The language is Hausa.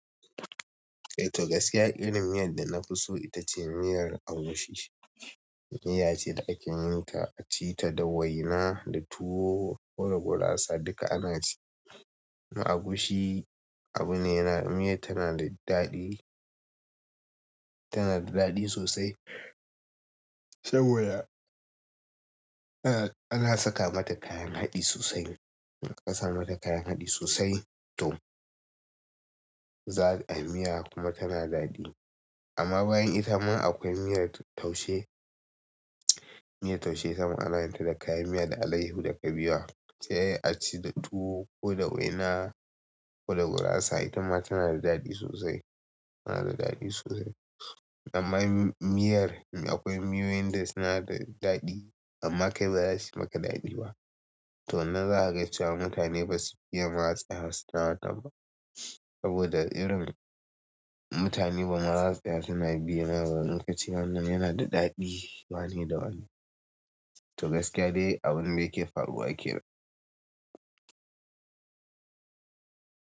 Eh toh gaskiya irin miyar da nafi so itace miyar agushi miya ce da ake yin ta, a ci ta da waina, da tuwo ko da gurasa duka ana ci. Na agushi abu ne yana, miyar tana da daɗi, tana da daɗi sosai saboda ana saka mata kayan haɗi sosai. Aka saka mata kayan haɗi sosai toh za a, miya kuma tana daɗi. Amma bayan ita ma akwai miyar taushe. Miyar taushe itama ana yin ta da kayan miya, da alayyahu, da kabewa sai a ci da tuwo ko da waina ko da gurasa. Ita ma tana da daɗi sosai, tana da daɗi sosai. Amma miyar akwai miyoyin da suna da daɗi amma kai baza suyi maka daɗi ba. Toh nan za kaga cewa mutane basu fiya ma tsayawa suna wannan ba saboda irin mutane ba zama su tsaya suna biye mai ba in kace wannan yana da daɗi wani da wani. Toh gaskiya dai abun da yake faruwa kenan.